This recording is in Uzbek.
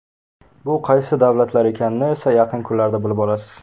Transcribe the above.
Bu qaysi davlatlar ekanini esa yaqin kunlarda bilib olasiz.